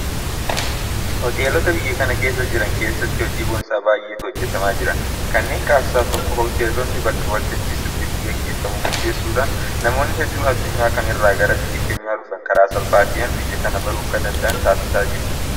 Hoteelota biyya kana keessa jiran keessatti hojii boonsaa baay'eetu hojjetamaa jira. Kanneen keessaa tokko Hoteelonni bakka waltajjii sirbi irratti gaggeeffamu qopheessuudhaan namoonni hedduun addunyaa kana irraa gara biyya keenyaa dhufan karaa salphaa ta'een biyya kana baruu akka danda'an taasisaa jirti.